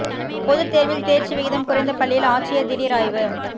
பொதுத் தோ்வில் தோ்ச்சி விகிதம் குறைந்த பள்ளியில் ஆட்சியா் திடீா் ஆய்வு